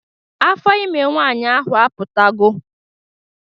Afọ ime nwaanyị ahụ apụtagwo